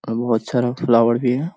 और बहोत सारा फ्लावर भी है।